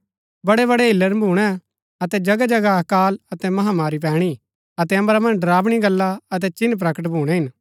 बड़ैबड़ै हिल्‍लण भूणै अतै जगहजगह अकाल अतै महामारी पैणी अतै अम्बरा मन्ज डरावणी गल्ला अतै चिन्ह प्रकट भूणै हिन